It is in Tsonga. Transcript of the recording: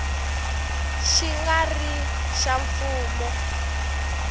xi nga ri xa mfumo